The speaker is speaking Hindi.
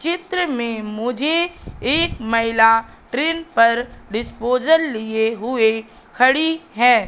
चित्र में मुझे एक महिला ट्रेन पर डिस्पोजल लिए हुए खड़ी है।